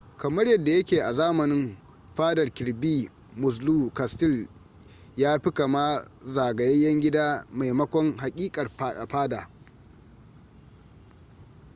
kamar yadda ya ke a zamanin fadar kirby muxloe castle yafi kama zagayayyen gida maimakon haƙiƙar fada